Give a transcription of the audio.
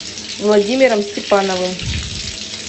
владимиром степановым